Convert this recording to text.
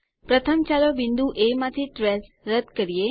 પ્રથમ ચાલો બિંદુ એ માંથી ટ્રેસ રદ કરીએ